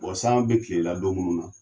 Bɔn san be kilala don munnu na